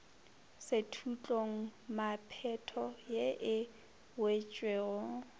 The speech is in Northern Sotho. sethutlong mephato ye e wetšego